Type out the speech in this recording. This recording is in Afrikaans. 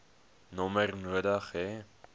nommer nodig hê